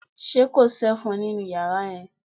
Ṣé kò sí ẹ̀fọn nínú yàrá yẹn?